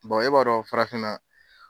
e b'a dɔn farafinna